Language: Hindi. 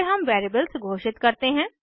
फिर हम वेरिएबल्स घोषित करते हैं